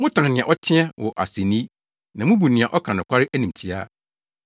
motan nea ɔteɛteɛ wɔ asennii na mubu nea ɔka nokware animtiaa.